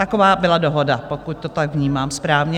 Taková byla dohoda, pokud to tak vnímám správně.